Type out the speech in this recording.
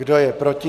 Kdo je proti?